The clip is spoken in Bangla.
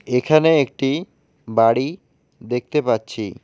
এখানে একটি বাড়ি দেখতে পাচ্ছি।